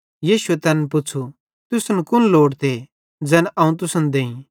यीशुए तैन पुच़्छ़ू तुसन कुन लोड़ते ज़ैन अवं तुसन देईं